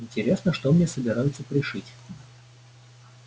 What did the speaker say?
интересно что мне собираются пришить